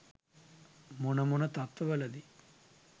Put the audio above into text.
මොන මොන තත්ව වලදී